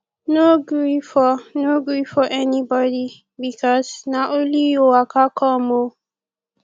no gree for no gree for anybodi bikos na only yu waka com o